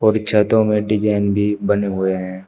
और छतों में डिजाइन भी बने हुए हैं।